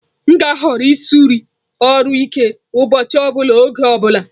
M ga-ahọrọ ịrụsi ọrụ ike ụbọchị ọ bụla oge ọ bụla.